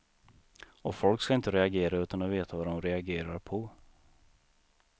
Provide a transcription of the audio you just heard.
Och folk ska inte reagera utan att veta vad de reagerar på.